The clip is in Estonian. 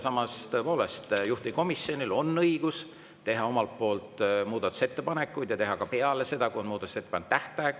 Samas, tõepoolest juhtivkomisjonil on õigus teha omalt poolt muudatusettepanekuid ja teha neid ka peale seda, kui on muudatusettepanekute tähtaeg.